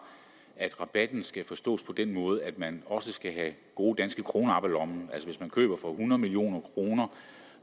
at rabatten skal forstås på den måde at man også skal have gode danske kroner op af lommen hvis man køber for hundrede million kroner